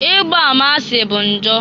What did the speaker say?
Igba ama asị bu njọ.